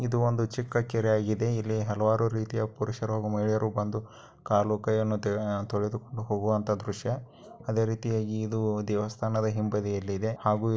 ಇದು ಒಂದು ಚಿಕ್ಕ ಕೆರೆಯಾಗಿದೆ ಇಲ್ಲಿ ಹಲವಾರು ರೀತಿಯ ಪುರುಷರು ಮಹಿಳೆಯರು ಬಂದು ಕಾಲು ಕೈಯನ್ನು ತೊಳೆದು ಕೊಂಡು ಹೋಗುವ ದೃಶ್ಯ. ಅದೇ ರೀತಿಯಾಗಿ ಇದು ದೇವಸ್ಥಾನದ ಹಿಂಬಾದಿಯಲ್ಲಿ ಇದೆ. ಹಾಗು--